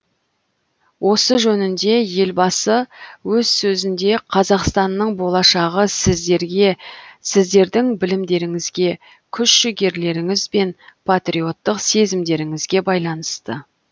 осы жөнінде елбасы өз сөзінде қазақстанның болашағы сіздерге сіздердің білімдеріңізге күш жігерлеріңіз бен патриоттық сезімдеріңізге байланысты